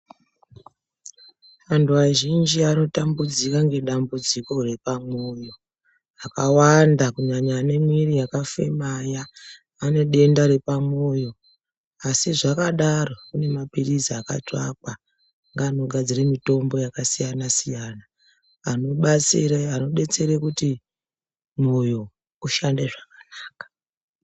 Antu azhinji ari kutambudzika nedambudziko repamwoyo akawanda kunyanya ane mwiri yakafema aya ane denda repamwoyo asi zvakadaro kune mapirizi akatsvakwa ngeanogadzire mitombo yakasiyana siyana anodetsere kuti mwoyo ushande zvakanaka.